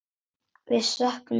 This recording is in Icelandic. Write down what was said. Við söknum þín sárt.